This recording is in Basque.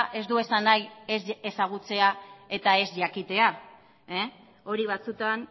ez du esan nahi ez ezagutzea eta ez jakitea hori batzutan